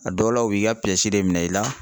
A dɔw la, u b'i ka de minɛ i la.